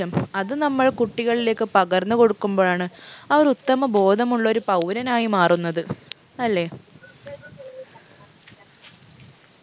അത് നമ്മൾ കുട്ടികളിലേക്ക് പകർന്ന് കൊടുക്കുമ്പോഴാണ് അവർ ഉത്തമ ബോധമുള്ളൊരു പൗരനായി മാറുന്നത് അല്ലെ